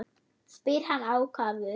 spyr hann ákafur.